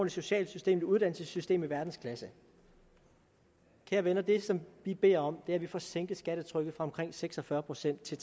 socialt system et uddannelsessystem i verdensklasse kære venner det som vi beder om er at vi får sænket skattetrykket fra omkring seks og fyrre procent til